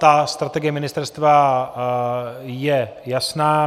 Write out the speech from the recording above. Ta strategie ministerstva je jasná.